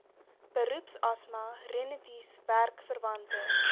beroepsasma rinitis werkverwante